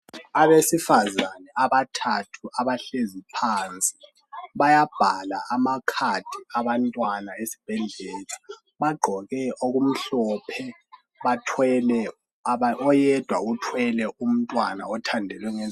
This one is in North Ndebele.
Abesifazane abathathu abahlezi phansi bayabhala amakhadi abantwana esibhedlela. Bagqoke okumhlophe, oyedwa uthwele umntwana othandelwe